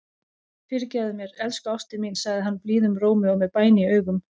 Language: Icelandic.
Fyrirgefðu mér, elsku ástin mín, segir hann blíðum rómi og með bæn í augum.